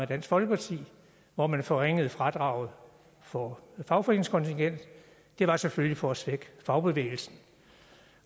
dansk folkeparti hvor man forringede fradraget for fagforeningskontingent det var selvfølgelig for at svække fagbevægelsen